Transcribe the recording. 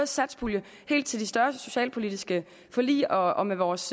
satspuljen til de større socialpolitiske forlig og og med vores